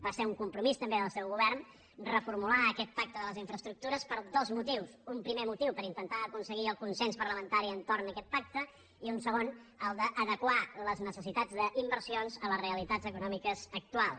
va ser un compromís també del seu govern reformular aquest pacte de les infraestructures per dos motius un primer motiu per intentar aconseguir el consens parlamentari entorn aquest pacte i un segon el d’adequar les necessitats d’inversions a les realitats econòmiques actuals